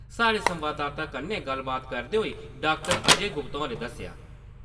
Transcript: साढ़े संवाददाता कन्नै गल्लबात करदे होई डाक्टर अजय गुप्ता होरें दस्सेआ।